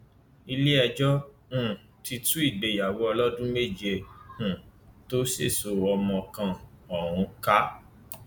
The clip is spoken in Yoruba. iléẹjọ um ti tú ìgbéyàwó ọlọdún méje um tó sèso ọmọ kan ọhún ká